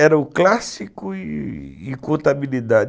Era o clássico e contabilidade.